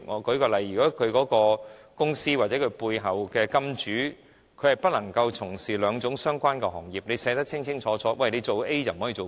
舉例而言，如果一間公司背後的金主是不能從事兩種相關行業的，法例便寫清楚做了 A 便不能做 B。